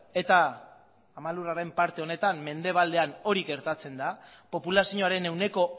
eta ama lurraren parte honetan mendebaldean hori gertatzen da populazioaren ehuneko